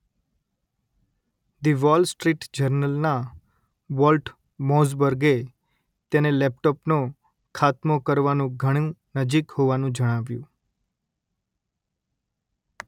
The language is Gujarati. ધ વોલ સ્ટ્રીટ જર્નલ ના વોલ્ટ મોઝબર્ગે તેને લેપટોપનો ખાતમો કરવાનું ઘણું નજીક હોવાનું જણાવ્યું